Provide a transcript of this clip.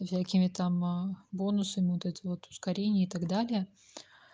всякими там бонусами вот это вот ускорение и так далее